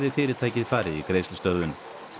fyrirtækið farið í greiðslustöðvun